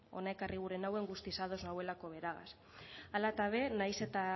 hona ekarri gura nauen guztiz ados nagoelakoagaz hala ta be nahiz eta